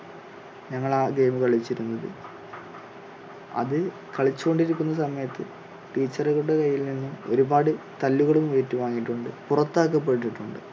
ഞങ്ങൾ ആ game കളിച്ചിരുന്നത് അതിൽ കളിച്ചുകൊണ്ടിരിക്കുന്ന സമയത്ത് teacher കളുടെ കൈയ്യിൽ നിന്ന് ഒരു പാട് തല്ലുകളും ഏറ്റുവാങ്ങിയിട്ടുണ്ട് പുറത്താക്കപ്പെട്ടിട്ടുണ്ട്